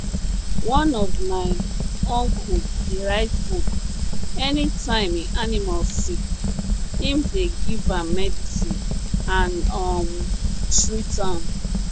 one of my uncle dey write book any time im animal sick im dey give am medicine and um treat am